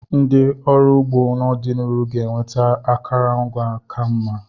Ndị ọrụ ugbo n'ọdịnihu ga-enweta akụrụngwa ka mma.